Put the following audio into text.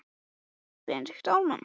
Heldurðu virkilega að ég hafi kveikt í?